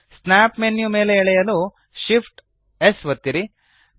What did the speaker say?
snap menu ಮೇಲೆ ಎಳೆಯಲು Shift amp S ಒತ್ತಿರಿ